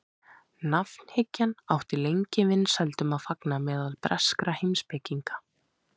nafnhyggjan átti lengi vinsældum að fagna meðal breskra heimspekinga